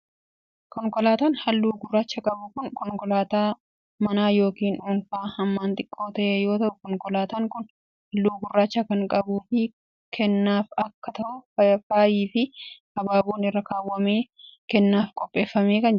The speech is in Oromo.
Konkolaataan haalluu gurraacha qabu kun konkolaataa manaa yookiin dhuunfaa hammaan xiqqoo ta'e yoo ta'u, konkolaataan kun haalluu gurraacha kan qabuu fi kennaaf akka ta'uuf faayi fi habaaboon irra kaawwamee kennaaf qopheeffamee kan jirudha.